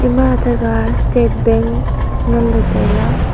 ima athe kha state bank ngaI le tailey.